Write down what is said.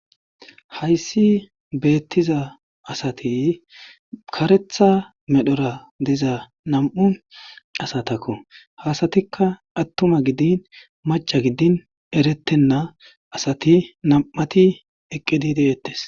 hayssi beettiza asati karetha medhora diza nam7u asatakko hasatikka attuma gidin macha giddin erettenna asati nam7ati eqqedi deettes